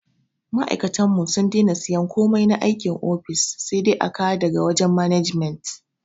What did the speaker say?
Ma aikatanmu sun dena siyan komai na aikin ofis, sai dai a kawo da ga wajen management